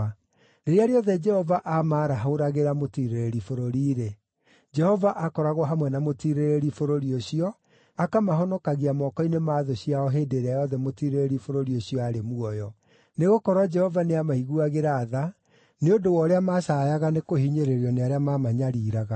Rĩrĩa rĩothe Jehova aamaarahũragĩra mũtiirĩrĩri bũrũri-rĩ, Jehova aakoragwo hamwe na mũtiirĩrĩri bũrũri ũcio, akamahonokagia moko-inĩ ma thũ ciao hĩndĩ ĩrĩa yothe mũtiirĩrĩri bũrũri ũcio aarĩ muoyo; nĩgũkorwo Jehova nĩamaiguagĩra tha nĩ ũndũ wa ũrĩa macaayaga nĩ kũhinyĩrĩrio nĩ arĩa mamanyariiraga.